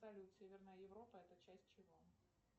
салют северная европа это часть чего